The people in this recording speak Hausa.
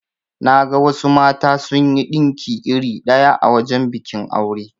Naga wasu mata sunyi dinki iri ɗaya a wajan bikin aure.